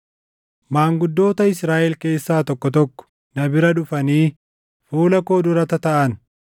Maanguddoota Israaʼelii keessaa tokko tokko na bira dhufanii fuula koo dura tataaʼan.